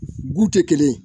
tɛ kelen ye